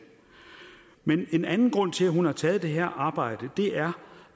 men en anden grund til at hun har taget det her arbejde er